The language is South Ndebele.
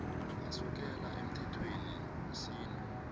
asukela emthethweni wesintu